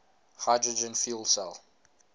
hydrogen fuel cell